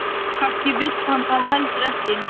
Kannski vill hann það heldur ekki.